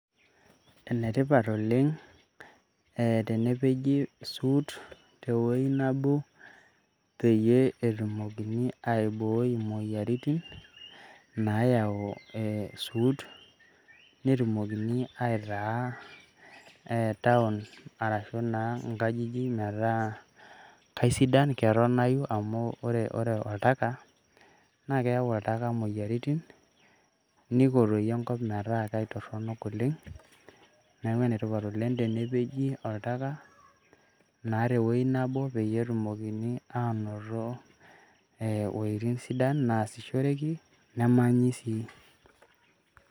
Enetipat oleng' tenepeji isuut tewuei nebo peyie etumokini aibooi imoyiaritiin naayau isuut, netumokini aitaa town arashu naa inkajijik metaa kaisidan ketonayu amu ore oltaka naa keyau oltaka imoyiaritin niko toi enkop metaa kaitorrono oleng', neeku enaikasha tenepeji oltaka tewueji nebo peyie etumokini anoto ee uwuejitin sidan naasishoreki nemanyi sii.